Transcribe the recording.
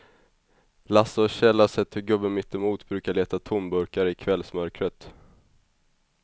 Lasse och Kjell har sett hur gubben mittemot brukar leta tomburkar i kvällsmörkret.